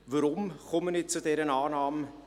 Weshalb komme ich zu dieser Annahme?